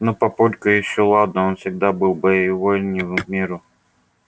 но папулька ещё ладно он всегда был боевой не в меру